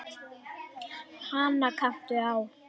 Hana kanntu á.